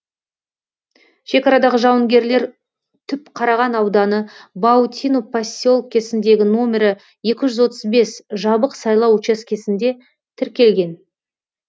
шекарадағы жауынгерлер түпқараған ауданы баутино поселкесіндегі номері екі жүз отыз бес жабық сайлау учаскесінде тіркелген